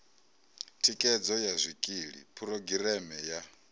thikhedzo ya zwikili phurogireme ya